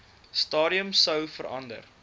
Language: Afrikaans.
stadium sou verander